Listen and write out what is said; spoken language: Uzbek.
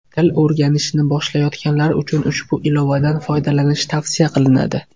Til o‘rganishni boshlayotganlar uchun ushbu ilovadan foydalanish tavsiya qilinadi.